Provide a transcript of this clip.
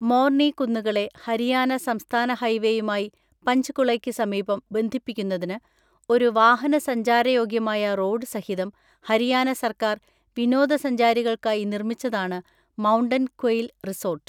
Morne കുന്നുകളെ ഹരിയാന സംസ്ഥാന ഹൈവേയുമായി പഞ്ച്കുളയ്ക്ക് സമീപം ബന്ധിപ്പിക്കുന്നതിന് ഒരു വാഹനസഞ്ചാരയോഗ്യമായ റോഡ് സഹിതം ഹരിയാന സർക്കാർ വിനോദസഞ്ചാരികൾക്കായി നിർമ്മിച്ചതാണ് മൗണ്ടൻ ക്വയിൽ റിസോർട്ട്.